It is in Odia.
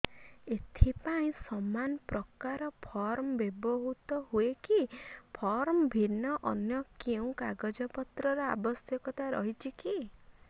ଏଥିପାଇଁ ସମାନପ୍ରକାର ଫର୍ମ ବ୍ୟବହୃତ ହୂଏକି ଫର୍ମ ଭିନ୍ନ ଅନ୍ୟ କେଉଁ କାଗଜପତ୍ରର ଆବଶ୍ୟକତା ରହିଛିକି